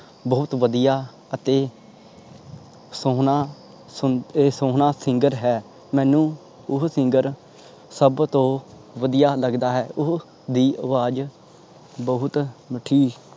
ਬਹੁਤ ਵਧਿਆ ਅਤੇ ਸੋਹਣਾਂ singer ਹੈ ਮੈਨੂੰ ਓਹੋ singer ਸਬ ਤੋਂ ਵਧਿਆ ਲੱਗਦਾ ਹੈ ਉਸਦੀ ਦੀ ਆਵਾਜ ਬਹੁਤ ਮੀਠੀ।